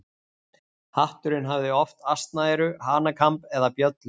Hatturinn hafði oft asnaeyru, hanakamb eða bjöllur.